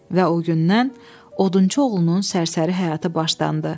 Və o gündən odunçu oğlunun sərsəri həyatı başlandı.